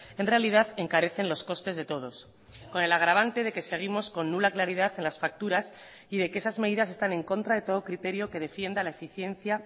en realidad encarecen los costes de todos con el agravante de que seguimos con nula claridad en las facturas y de que esas medidas están en contra de todo criterio que defienda la eficiencia